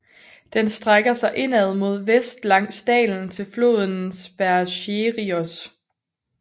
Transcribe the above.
Den strækker sig indad mod vest langs dalen til floden Spercheios